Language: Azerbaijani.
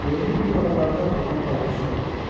Görünür bu aralarda durna balığı çoxdur.